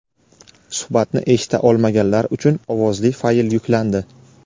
Suhbatni eshita olmaganlar uchun ovozli fayl yuklandi..